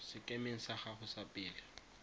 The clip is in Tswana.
sekemeng sa gago sa pele